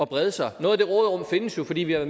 brede sig noget af det råderum findes jo fordi vi har